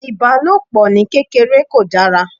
Ìbálòpò ní kéreké kò dára.